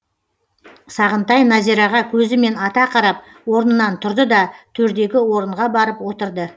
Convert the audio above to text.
сағынтай назираға көзімен ата қарап орнынан тұрды да төрдегі орынға барып отырды